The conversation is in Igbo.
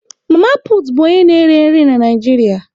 Mama put bụ onye na-ere nri na Naịjirịa.